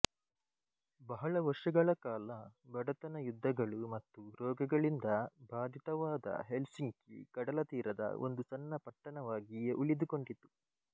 ಬಹಳ ವರ್ಷಗಳ ಕಾಲ ಬಡತನ ಯುದ್ಧಗಳು ಮತ್ತು ರೋಗಗಳಿಂದ ಬಾಧಿತವಾದ ಹೆಲ್ಸಿಂಕಿ ಕಡಲತೀರದ ಒಂದು ಸಣ್ಣ ಪಟ್ಟಣವಾಗಿಯೇ ಉಳಿದುಕೊಂಡಿತು